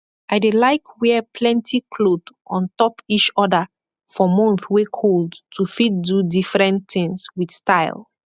i dey laik wear plenti kloth ontop ish oda for month wey kold to fit do difren tins wit style